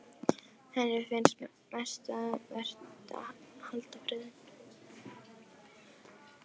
Henni finnst mest um vert að halda friðinn.